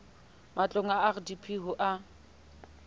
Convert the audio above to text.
matlong a rdp ho a